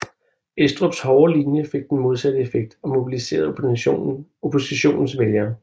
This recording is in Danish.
Estrups hårde linje fik den modsatte effekt og mobiliserede oppositionens vælgere